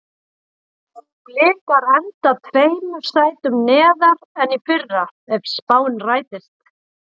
Blikar enda tveimur sætum neðar en í fyrra ef spáin rætist.